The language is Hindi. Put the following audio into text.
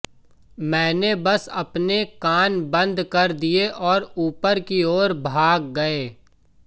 मैंने बस अपने कान बंद कर दिए और ऊपर की ओर भाग गए